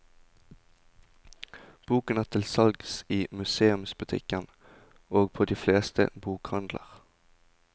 Boken er tilsalgs i museumsbutikken og på de fleste bokhandler.